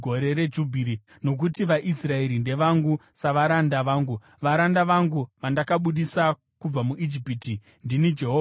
nokuti vaIsraeri ndevangu savaranda vangu. Varanda vangu vandakabudisa kubva muIjipiti. Ndini Jehovha Mwari wenyu.